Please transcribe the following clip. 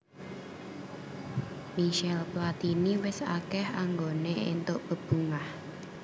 Michel Platini wis akèh anggoné èntuk bebungah